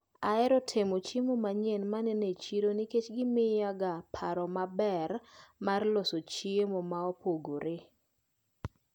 Aheroga temo chiemo manyien maneno e chiro nikech gimiyaga paro maber mar loso chiemo maopogre.